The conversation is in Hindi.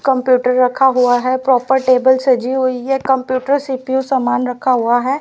कंप्यूटर रखा हुआ है प्रॉपर टेबल सजी हुई है कंप्यूटर सी_पी_यू समान रखा हुआ है।